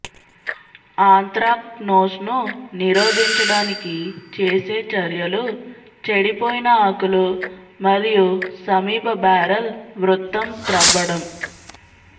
ఆంత్రాక్నోస్ను నిరోధించడానికి చేసే చర్యలు చెడిపోయిన ఆకులు మరియు సమీప బ్యారెల్ వృత్తం త్రవ్వడం